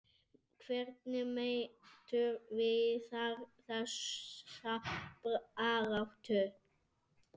Hvernig metur Viðar þessa baráttu?